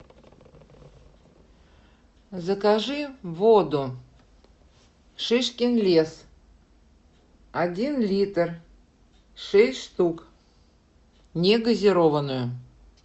закажи воду шишкин лес один литр шесть штук негазированную